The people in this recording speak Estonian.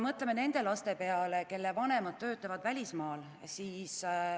Mõtleme ka nende laste peale, kelle vanemad töötavad välismaal.